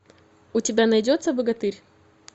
у тебя найдется богатырь